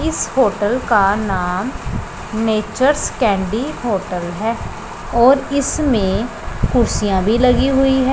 इस होटल का नाम नेचर्स कैंडी होटल है और इसमें कुर्सियां भी लगी हुई--